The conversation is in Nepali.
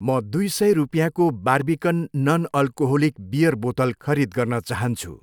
म दुई सय रुपियाँको बार्बिकन नन अल्कोहोलिक बियर बोतल खरिद गर्न चाहान्छु।